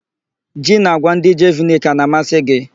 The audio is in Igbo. Ji na àgwà ndị Jeviniki a na-amasị gị?